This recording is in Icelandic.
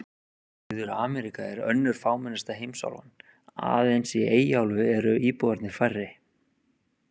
Suður-Ameríka er önnur fámennasta heimsálfan, aðeins í Eyjaálfu eru íbúarnir færri.